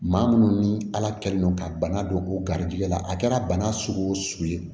Maa munnu ni ala kɛlen don ka bana don u garijɛgɛ la a kɛra bana sugu o sugu ye